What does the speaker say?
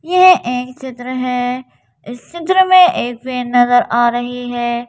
यह एक चित्र है इस चित्र में एक पेन नजर आ रही है।